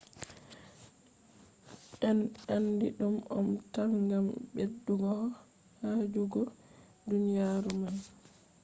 en andi ɗum om tam gam ɓedduho yaajugo duniyaaru man